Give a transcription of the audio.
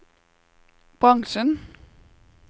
bransjen